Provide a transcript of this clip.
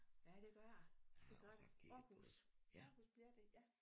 Ja det gør det det gør det Aarhus Aarhus bliver det ja